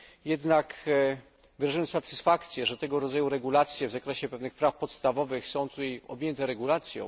Jednak wyrażamy satysfakcję, że tego rodzaju regulacje w zakresie pewnych praw podstawowych są tutaj objęte regulacją.